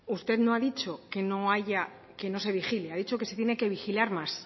usted no ha dicho que no haya que no se vigile ha dicho que se tiene que vigilar más